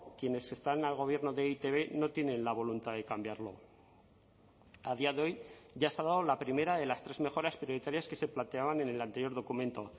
quienes están al gobierno de e i te be no tienen la voluntad de cambiarlo a día de hoy ya se ha dado la primera de las tres mejoras prioritarias que se planteaban en el anterior documento